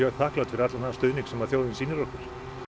þakklát fyrir allan þann stuðning sem þjóðin sýnir okkur